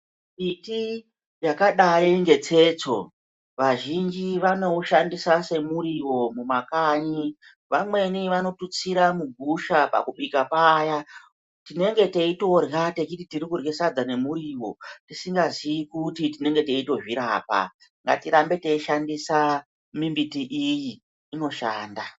Miti yakadai ngetsetso vazhinji vanoushandisa semuriwo kumakanyi vamweni vanotustira mugusha pakubika paya tinenge teitorya teiti tirikurye sadza nemuriwo tisingazivi kuti tinenge teitozvirapa. Ngatirambe teishandisa mimbiti iyi inoshanda.